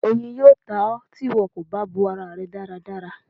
Oyin yóò tá ọ, tí ìwo kó bá bò ará rẹ dáradára.